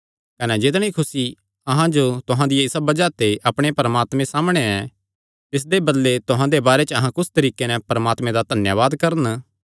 कने जितणी खुसी अहां जो तुहां दिया बज़ाह ते अपणे परमात्मे सामणै ऐ तिसदे बदले तुहां दे बारे च अहां कुस तरीके नैं परमात्मे दा धन्यावाद करन